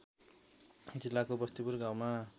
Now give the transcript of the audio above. जिल्लाको बस्तीपुर गाउँमा